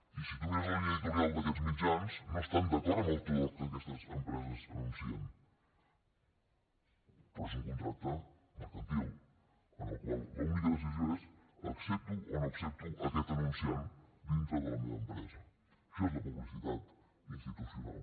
i si tu mires la línia editorial d’aquests mitjans no estan d’acord en tot el que aquestes empreses anuncien però és un contracte mercantil en el qual l’única decisió és accepto o no accepto aquest anunciant dintre de la meva empresa això és la publicitat institucional